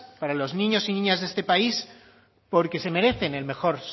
para los niños y niñas de este país porque se merecen el mejor